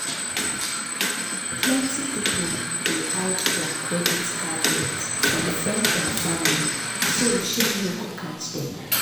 plenty people dey hide dir credit card debt from friends and family so shame no go catch dm